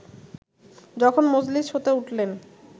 যখন মজলিস হতে উঠলেন